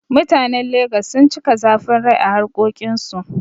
Mutanen Lagos sun cika zafin rai a harƙokin su